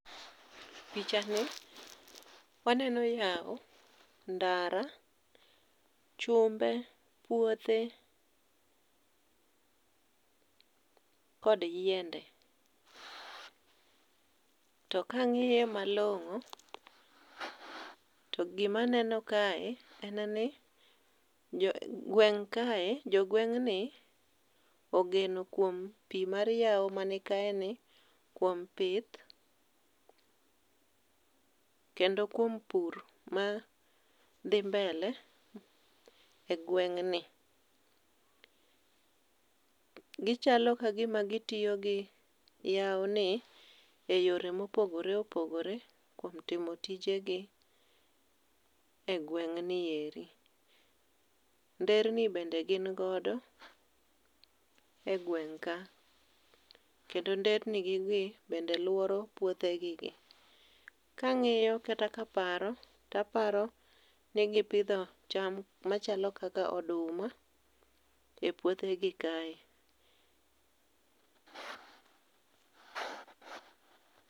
Picha ni waneno yao, ndara, chumbe, puothe, kod yiende. To ka ang'iye malong'o, to gimaneno kae en ni gweng' kae jo gweng' ni ogeno kuom pi mar yao mani kae ni kuom pith, kendo kuom pur madhi mbele e gweng' ni. Gichalo kagima gitiyo gi yao ni e yore mopogore opogore kuom timo tije gi e gweng' nieri. Nderni bende gin godo e gweng' ka. Kendo nder ni gi gi bende luoro puothe gi be. Kang'iyo kata kaporo to aparo ni gipidho cham machalo kaka oduma e puothe gi kae.